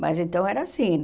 Mas então era assim.